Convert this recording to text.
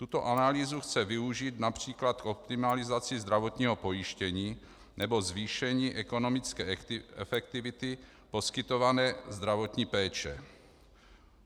Tuto analýzu chce využít například k optimalizaci zdravotního pojištění nebo zvýšení ekonomické efektivity poskytované zdravotní péče.